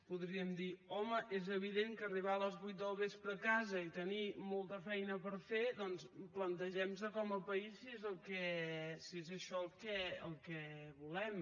podríem dir home és evident que arribar a les vuit del vespre a casa i tenir molta feina per fer doncs plantegem nos com a país si és això el que volem